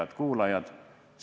Head kuulajad!